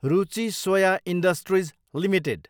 Ruchi Soya industries Ltd